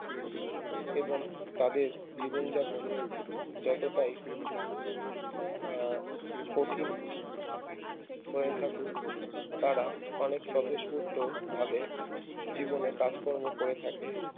এবং তাদের জীবন যাপন যতটাই আহ কঠিন হয়ে থাকুক তারা অনেক স্বতঃস্পুর্ত ভাবে জীবনে কাজকর্ম করে থাকে